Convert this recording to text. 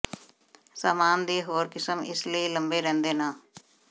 ਸਾਮਾਨ ਦੀ ਹੋਰ ਕਿਸਮ ਇਸ ਲਈ ਲੰਬੇ ਰਹਿੰਦੇ ਨਾ